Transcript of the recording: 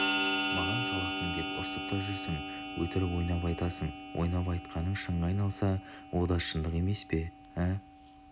маған салақсың деп ұрсып та жүрсің өтірік ойнап айтасың ойнап айтқаның шынға айналса о да шындық емес пе ә